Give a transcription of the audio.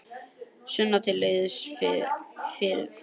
Sunna til liðs við Fram